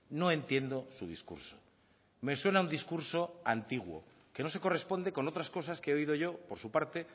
no entiendo su discurso me suena a un discurso antiguo que no se corresponde con otras cosas que he oído yo por su parte